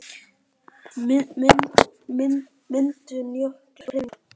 Myndun jökla og hreyfingar